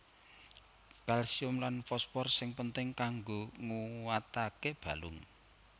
Kalsium lan fosfor sing penting kanggo nguataké balung